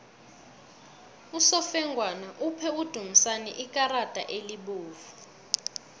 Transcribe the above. usofengwana uphe udumisani ikarada elibovu